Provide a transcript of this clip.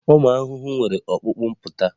Ụmụ ahụhụ nwere ọkpụkpụ mpụta